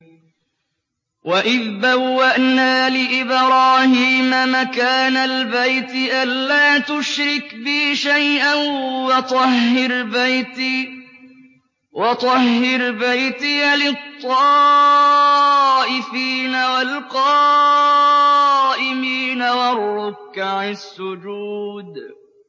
وَإِذْ بَوَّأْنَا لِإِبْرَاهِيمَ مَكَانَ الْبَيْتِ أَن لَّا تُشْرِكْ بِي شَيْئًا وَطَهِّرْ بَيْتِيَ لِلطَّائِفِينَ وَالْقَائِمِينَ وَالرُّكَّعِ السُّجُودِ